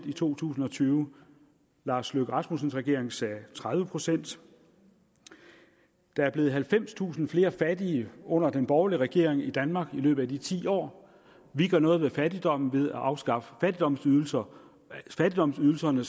i to tusind og tyve lars løkke rasmussens regering sagde tredive procent der er blevet halvfemstusind flere fattige under den borgerlige regering i danmark i løbet af de ti år vi gør noget ved fattigdommen ved at afskaffe fattigdomsydelserne fattigdomsydelserne